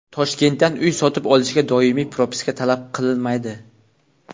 Toshkentdan uy sotib olishga doimiy propiska talab qilinmaydi.